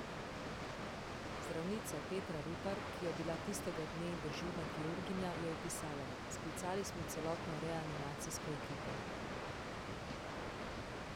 Zdravnica Petra Rupar, ki je bila tistega dne dežurna kirurginja, je opisala: 'Sklicali smo celotno reanimacijsko ekipo.